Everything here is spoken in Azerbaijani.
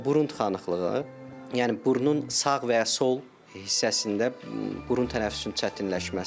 Burun tıxanıqlığı, yəni burnun sağ və ya sol hissəsində burun tənəffüsün çətinləşməsi.